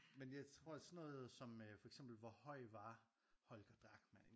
Men jeg tror sådan noget som øh for eksempel hvor høj var Holger Drachmann